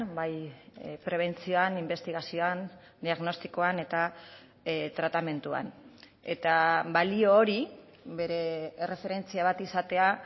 bai prebentzioan inbestigazioan diagnostikoan eta tratamenduan eta balio hori bere erreferentzia bat izatea